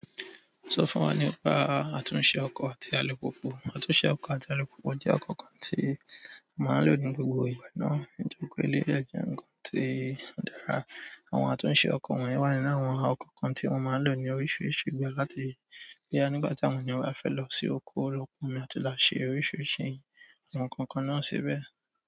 Sọ fún wa nípa àtúnṣe ọkọ̀ àti alùpùpù. Àtúnṣe ọkọ̀ àti alùpùpù jẹ́ ọkọ̀ kan tí a máa ń lò ní gbogbo ìgbà náà. Nítorí pé eléyìí de jẹ́ ǹnkan tí ó dára. Àwọn àtúnṣe ọkọ̀ wọ̀nyí wà nínú àwọn ọkọ̀ kan tí wọ́n máa ń lò ní oríṣiríṣi ìgbà láti bóyá nígbà tí àwọn ènìyàn bá fẹ́ lọ sí oko lọ́pọ̀ omi àti lọ ṣe oríṣiríṣi àti àwọn nnkankan náà sibei.